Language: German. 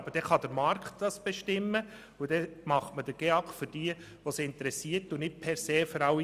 Aber der Markt kann es bestimmen, und dann macht man den GEAK für diejenigen, die es interessiert und nicht per se für alle.